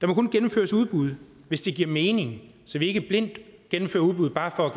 må kun gennemføres udbud hvis det giver mening så vi ikke blindt gennemfører udbud bare for at